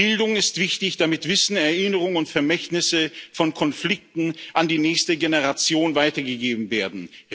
Bildung ist wichtig, damit Wissen, Erinnerung und Vermächtnisse von Konflikten an die nächste Generation weitergegeben werden.